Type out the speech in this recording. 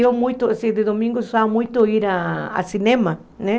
Eu, muito, assim, de domingo, usava muito ir ao cinema, né?